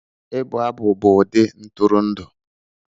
Ịbụ abụ bụ ụdị ntụrụndụ.